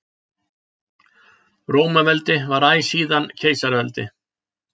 Rómaveldi var æ síðan keisaraveldi.